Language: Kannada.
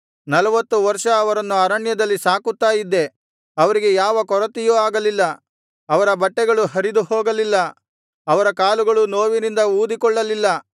ನಲ್ವತ್ತು ವರ್ಷ ಅವರನ್ನು ಅರಣ್ಯದಲ್ಲಿ ಸಾಕುತ್ತಾ ಇದ್ದೆ ಅವರಿಗೆ ಯಾವ ಕೊರತೆಯೂ ಆಗಲಿಲ್ಲ ಅವರ ಬಟ್ಟೆಗಳು ಹರಿದುಹೋಗಲಿಲ್ಲ ಅವರ ಕಾಲುಗಳು ನೋವಿನಿಂದ ಊದಿಕೊಳ್ಳಲಿಲ್ಲ